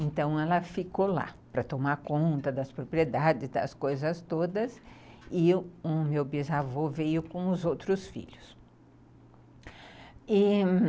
Então ela ficou lá para tomar conta das propriedades, das coisas todas, e o meu bisavô veio com os outros filhos.